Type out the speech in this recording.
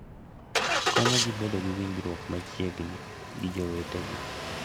Konyogi bedo gi winjruok machiegni gi jowetegi.